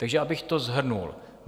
Takže abych to shrnul.